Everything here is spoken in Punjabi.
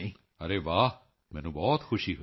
ਅਰੇ ਵਾਹ ਮੈਨੂੰ ਬਹੁਤ ਖੁਸ਼ੀ ਹੋਈ